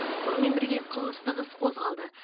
сонымен бірге қылмыстық іс қозғалды